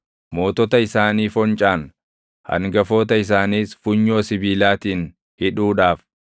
mootota isaanii foncaan, hangafoota isaaniis funyoo sibiilaatiin hidhuudhaaf,